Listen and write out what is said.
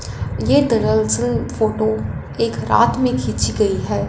ये दरअसल फोटो एक रात में खींची गई है।